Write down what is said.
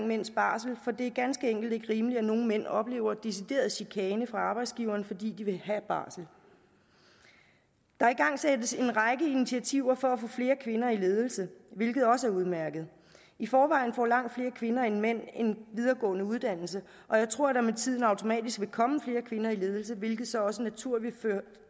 mænds barsel for det er ganske enkelt ikke rimeligt at nogle mænd oplever decideret chikane fra arbejdsgiveren fordi de vil have barsel der igangsættes en række initiativer for at få flere kvinder i ledelse hvilket også er udmærket i forvejen får langt flere kvinder end mænd en videregående uddannelse og jeg tror at der med tiden automatisk vil komme flere kvinder i ledelse hvilket så også naturligt vil